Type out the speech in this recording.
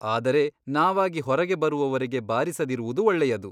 ಆದರೆ ನಾವಾಗಿ ಹೊರಗೆ ಬರುವವರೆಗೆ ಬಾರಿಸದಿರುವುದು ಒಳ್ಳೆಯದು.